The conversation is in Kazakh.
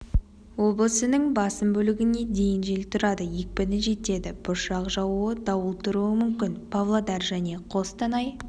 облысының басым бөлігінде дейін жел тұрады екпіні жетеді бұршақ жаууы дауыл тұруы мүмкін павлодаржәне қостанай